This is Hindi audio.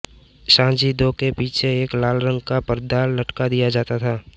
साजिंदों के पीछे एक लाल रंग का पर्दा लटका दिया जाता था